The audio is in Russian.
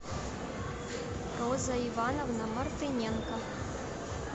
роза ивановна мартыненко